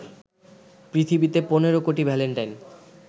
পৃথিবীতে ১৫ কোটি ভ্যালেন্টাইন